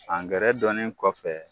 Angɛrɛ donnen kɔfɛ